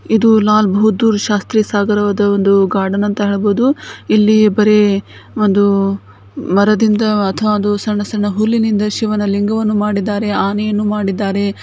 ಇದು ಲಾಲ್ ಬಹುದ್ದೂರ್ ಶಾಸ್ತ್ರಿ ಗಾರ್ಡನ್ ಅಂತ ಹೇಳಬಹುದು ಇಲ್ಲಿ ಬರೆ ಒಂದು ಮರದಿಂದ ಆದ ಸಣ್ಣ ಸಣ್ಣ ಒಂದು ಲಿಂಗವನ್ನು ಮಾಡಿದ್ದಾರೆ ಆನೆಯನ್ನು ಮಾಡಿದ್ದಾರೆ.